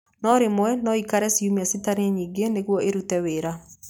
No rĩmwe no ikare ciumia citarĩ nyingĩ nĩguo ĩrute wĩra.